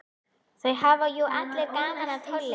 Það hafa jú allir gaman af tónlist.